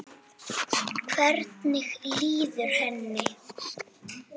Hvernig líður henni?